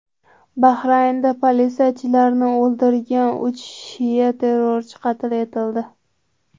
Bahraynda politsiyachilarni o‘ldirgan uch shia terrorchisi qatl etildi.